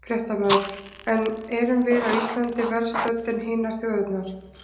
Fréttamaður: En erum við á Íslandi verr stödd en hinar þjóðirnar?